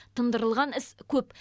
тындырылған іс көп